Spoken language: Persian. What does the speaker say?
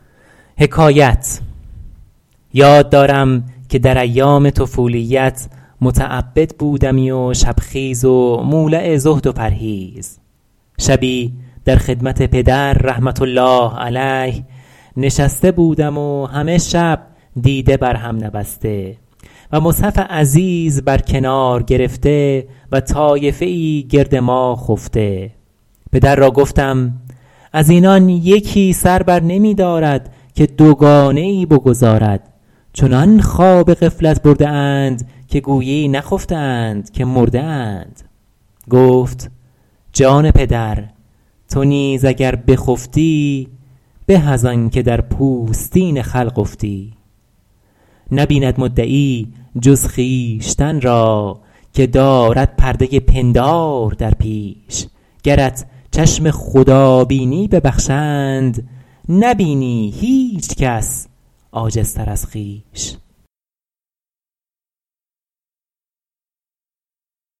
یاد دارم که در ایام طفولیت متعبد بودمی و شب خیز و مولع زهد و پرهیز شبی در خدمت پدر رحمة الله علیه نشسته بودم و همه شب دیده بر هم نبسته و مصحف عزیز بر کنار گرفته و طایفه ای گرد ما خفته پدر را گفتم از اینان یکی سر بر نمی دارد که دوگانه ای بگزارد چنان خواب غفلت برده اند که گویی نخفته اند که مرده اند گفت جان پدر تو نیز اگر بخفتی به از آن که در پوستین خلق افتی نبیند مدعی جز خویشتن را که دارد پرده پندار در پیش گرت چشم خدا بینی ببخشند نبینی هیچ کس عاجزتر از خویش